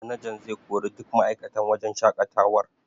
Manajan zai kori duk ma'aikatan wajen shaƙatawar.